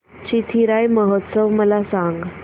चिथिराई महोत्सव मला सांग